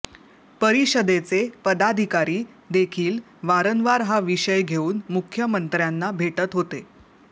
परिषदेचे पदाधिकारी देखील वारंवार हा विषय घेऊन मुख्यमंत्र्यांना भेटत होते